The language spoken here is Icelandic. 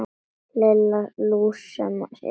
Lilla lús sem étur mús.